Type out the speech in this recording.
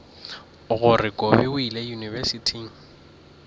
gore kobi o ile yunibesithing